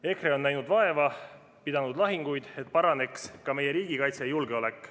EKRE on näinud vaeva ja pidanud lahinguid, et paraneks ka meie riigikaitse ja julgeolek.